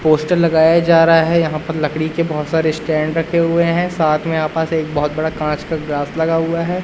Poster लगाया जा रहा है। यहां पर लकड़ी के बहोत सारे स्टैंड रखे हुए हैं। साथ में आपस एक बहोत बड़ा कांच का ग्लास लगा हुआ है।